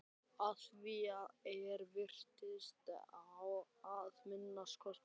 Að því er virtist að minnsta kosti.